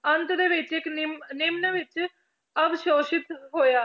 ਅੰਤ ਦੇ ਵਿੱਚ ਇੱਕ ਨਿੰਮ~ ਨਿਮਣ ਵਿੱਚ ਅਵਸੋਸ਼ਿਤ ਹੋਇਆ।